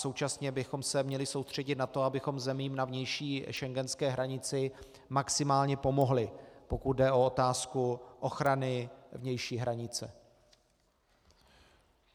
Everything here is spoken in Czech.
Současně bychom se měli soustředit na to, abychom zemím na vnější schengenské hranici maximálně pomohli, pokud jde o otázku ochrany vnější hranice.